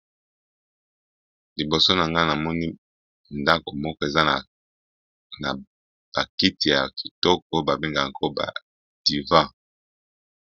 Liboso na nga na moni ndako moko eza na ba kiti ya kitoko. Ba bengaka yango ba divin.